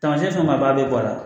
Tamasiyɛn fanba b'a bi bɔ a la